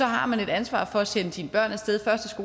har man et ansvar for at sende sine børn af sted